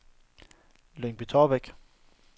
Lyngby-Taarbæk